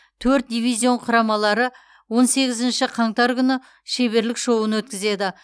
төрт дивизион құрамалары он сегізінші қаңтар күні шеберлік шоуын өткізеді